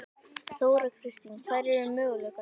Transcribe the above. Þóra Kristín: Hverjir eru möguleikarnir?